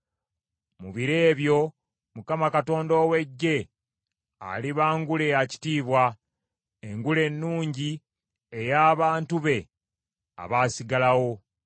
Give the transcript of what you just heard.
Mu biro ebyo Mukama Katonda ow’Eggye aliba ngule ya kitiibwa, engule ennungi ey’abantu be abaasigalawo.